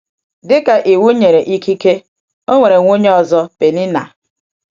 Dị ka Iwu nyere ikike, ọ nwere nwunye ọzọ — Pèninnà.